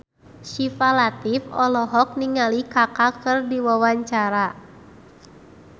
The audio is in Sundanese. Syifa Latief olohok ningali Kaka keur diwawancara